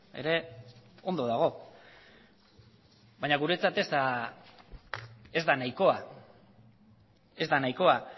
ere ondo dago baina guretzat ez da nahikoa ez da nahikoa